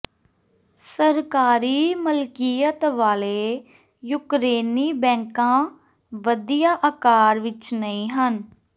ਸਰਕਾਰੀ ਮਲਕੀਅਤ ਵਾਲੇ ਯੂਕਰੇਨੀ ਬੈਂਕਾਂ ਵਧੀਆ ਆਕਾਰ ਵਿਚ ਨਹੀਂ ਹਨ